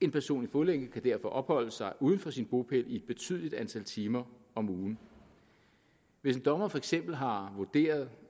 en person i fodlænke kan derfor opholde sig uden for sin bopæl i et betydeligt antal timer om ugen hvis en dommer for eksempel har vurderet